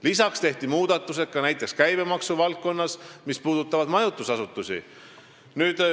Lisaks on tehtud käibemaksu valdkonnas teatud muudatusi, mis puudutavad majutusasutusi.